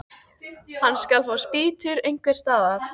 Hann skal fá spýtur einhvers staðar.